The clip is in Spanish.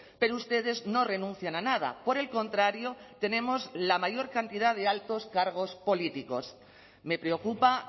pero ustedes no renuncian a nada por el contrario tenemos la mayor cantidad de altos cargos políticos me preocupa